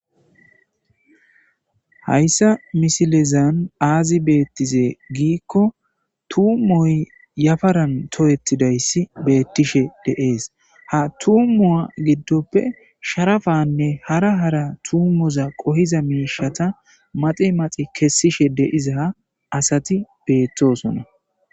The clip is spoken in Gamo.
Hayssa misilezan aazi beetize giiko tuumoy yafaran tohetidayssi beetishe de'es; ha tuumuwa giddoppe sharapanne hara hara tuumoza qohiza miishshata maxi maxi kessishe de'iza asati beetosona.